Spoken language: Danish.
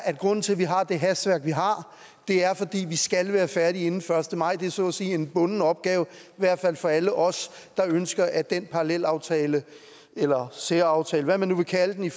at grunden til at vi har det hastværk vi har er fordi vi skal være færdige inden den første maj det er så at sige en bunden opgave i hvert fald for alle os der ønsker at den parallelaftale eller særaftale hvad man nu vil kalde den